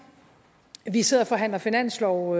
vi sidder og forhandler finanslov